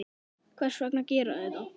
Hvers vegna gera þeir það?